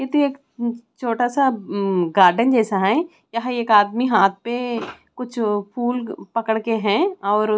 इधर एक छोटा सा हम्म गार्डन जैसा है यहाँ एक आदमी हाथ पे कुछ अ फूल पकड़ के है और--